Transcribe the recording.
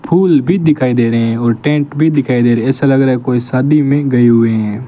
फूल भी दिखाई दे रहे हैं और टेंट भी दिखाई दे रहे ऐसा लग रहा है कोई शादी में गए हुए हैं।